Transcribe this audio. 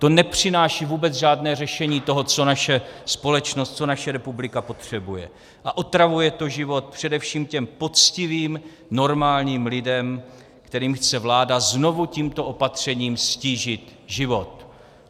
To nepřináší vůbec žádné řešení toho, co naše společnost, co naše republika potřebuje, a otravuje to život především těm poctivým, normálním lidem, kterým chce vláda znovu tímto opatřením ztížit život.